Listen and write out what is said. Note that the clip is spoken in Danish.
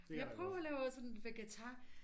Jeg prøver og lave sådan vegetar